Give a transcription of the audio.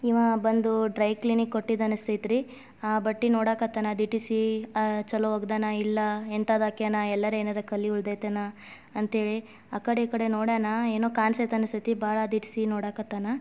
ಈವ ಬಂದು dry cleaning ಗೆ ಕೊಟ್ಟಿದ್ದ ಅನಸತೈತ್ರಿ. ಆ ಬಟ್ಟಿ ನೋಡಾಕತ್ತಾನ ದಿಟ್ಟಿಸಿ ಅ ಚೊಲೋ ವಾಗ್ದಾನ ಇಲ್ಲಾ ಹೆಂತಾದ್ ಹಾಕ್ಯಾನ. ಎಲ್ಲಾರ ಏನಾರ ಕಲಿ ಉಳದೈತೇನ. ಅಂಥೆಲೆ ಆಕಡೆ ಈಕಡೆ ನೋಡ್ಯಾನ ಏನೋ ಕಾನ್ಸೈತಿ ಅನಸೈತಿ ಭಾಳ ದಿಟ್ಟಿಸಿ ನೋಡಾಕತ್ತಾನ.